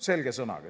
Selge sõnaga.